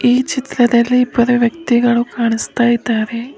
ಈ ಚಿತ್ರದಲ್ಲಿ ಇಬ್ಬರು ವ್ಯಕ್ತಿಗಳು ಕಾಣಿಸ್ತ ಇದ್ದಾರೆ.